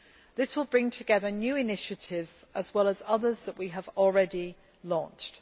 This will bring together new initiatives as well as others that we have already launched.